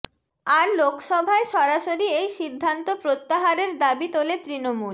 আর লোকসভায় সরাসরি এই সিদ্ধান্ত প্রত্যাহারের দাবি তোলে তৃণমূল